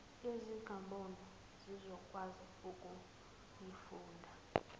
ezingaboni zizokwazi ukuyifunda